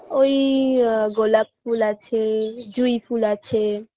ওই আ গোলাপ ফুল আছে জুঁই ফুল আছে